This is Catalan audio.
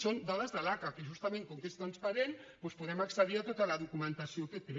són dades de l’aca que justament com que és transparent doncs podem accedir a tota la documentació que té